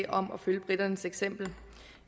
om at følge briternes eksempel